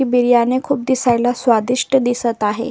ती बिर्याणी खूप दिसायला स्वादिष्ट दिसत आहे.